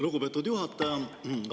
Lugupeetud juhataja!